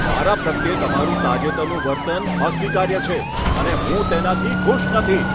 મારા પ્રત્યે તમારું તાજેતરનું વર્તન અસ્વીકાર્ય છે અને હું તેનાથી ખુશ નથી.